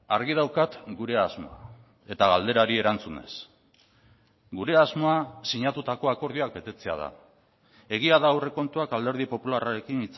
argi daukat gure asmoa eta galderari erantzunez gure asmoa sinatutako akordioak betetzea da egia da aurrekontuak alderdi popularrarekin